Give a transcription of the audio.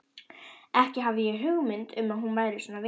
Ekki hafði ég hugmynd um að hún væri svona vitlaus.